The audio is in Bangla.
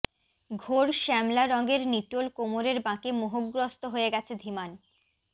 ঘোর শ্যামলা রঙের নিটোল কোমরের বাঁকে মোহগ্রস্ত হয়ে গেছে ধীমান